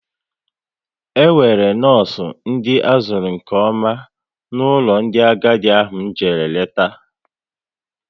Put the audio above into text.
E nwere nọọsụ ndị azuru nke ọma n'ụlọ ndị agadi ahụ m jere leta